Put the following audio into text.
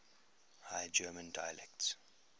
high german dialects